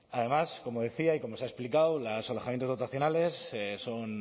además como decía y como se ha explicado los alojamientos dotacionales son